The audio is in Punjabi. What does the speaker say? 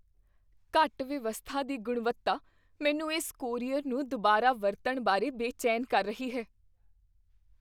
ਘੱਟ ਵਿਵਸਥਾ ਦੀ ਗੁਣਵੱਤਾ ਮੈਨੂੰ ਇਸ ਕੋਰੀਅਰ ਨੂੰ ਦੁਬਾਰਾ ਵਰਤਣ ਬਾਰੇ ਬੇਚੈਨ ਕਰ ਰਹੀ ਹੈ।